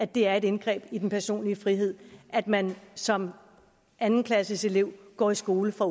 det er et indgreb i den personlige frihed at man som anden klasseelev går i skole fra